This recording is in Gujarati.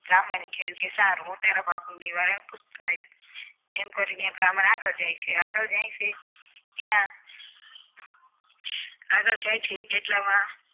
બ્રાહ્મણે કહ્યું કે સારું હું તારા પાપનું નિવારણ પૂછતાં આવીશ એમ કરીને બ્રાહ્મણ આગળ જાય છે આગળ જાય છે ત્યાં આગળ જાય છે એટલામાં